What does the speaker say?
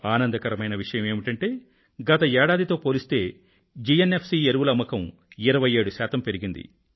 ఆనందకరమైన విషయమేమిటంటే గత ఏడాది తో పోలిస్తే జిఎన్ఎఫ్ సి ఎరువుల అమ్మకం 27 శాతం పెరిగింది